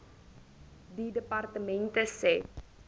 die departement se